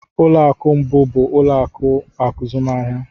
Ụlọ akụ mbụ bụ ụlọ akụ azụmahịa